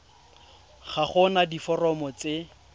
ga go na diforomo tse